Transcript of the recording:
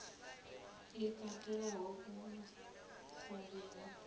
i katelaho u sa livha